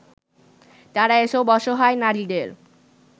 তারা এসব অসহায় নারীদের